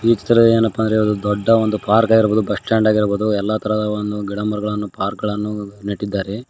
ಈ ಚಿತ್ರದಲ್ಲಿ ಏನಪ್ಪ ಅಂದ್ರೆ ಒಂದು ದೊಡ್ಡ ಒಂದು ಪಾರ್ಕ್ ಆಗಿರ್ಬಹುದು ಬಸ್ಟಾಂಡ್ ಆಗಿರ್ಬಹುದು ಎಲ್ಲಾ ತರಹದ ಒನ್ ಗಿಡಮರಗಳನ್ನು ಪಾರ್ಕ ಗಳನ್ನು ನೆಟ್ಟಿದ್ದಾರೆ.